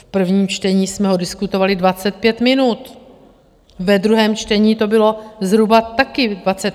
V prvním čtení jsme ho diskutovali 25 minut, ve druhém čtení to bylo zhruba taky 25 minut.